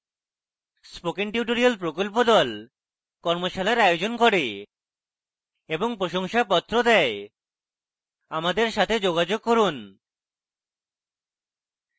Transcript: spoken tutorial প্রকল্প the কর্মশালার আয়োজন করে এবং প্রশংসাপত্র the আমাদের সাথে যোগাযোগ করুন